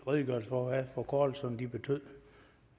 redegørelse for hvad forkortelserne betyder